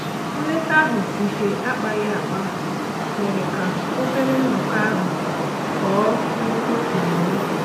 Nleta ahụ nke akpaghi akpa mere ka obere nnọkọ ahụ ghọọ nnukwu ememe.